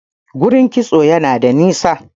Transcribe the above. gurin kitso Yana da nisa